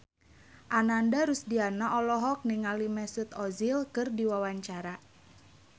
Ananda Rusdiana olohok ningali Mesut Ozil keur diwawancara